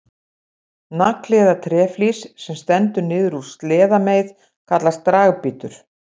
Nagli eða tréflís sem stendur niður úr sleðameið kallast dragbítur.